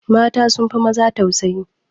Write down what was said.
Mata sun fi maza tausayi